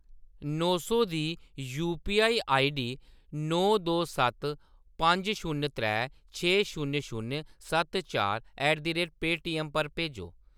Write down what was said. नौ सौ दी UPI ID नौ दो सत्त पंज शून्य त्रै छे शून्य शून्य सत्त चार ऐट द रेट पेऽटीएम पर भेजो।